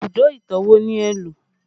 Ibùdó ìtàn wo ni ẹ lo?